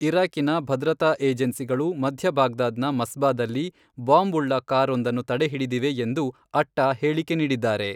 ಇರಾಕಿನ ಭದ್ರತಾ ಏಜೆನ್ಸಿಗಳು ಮಧ್ಯ ಬಾಗ್ದಾದ್ನ ಮಸ್ಬಾದಲ್ಲಿ ಬಾಂಬ್ ಉಳ್ಳ ಕಾರ್ ಒಂದನ್ನು ತಡೆಹಿಡಿದಿವೆ ಎಂದು ಅಟ್ಟಾ ಹೇಳಿಕೆ ನೀಡಿದ್ದಾರೆ.